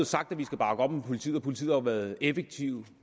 sagt at vi skal bakke op om politiet politiet har jo været effektivt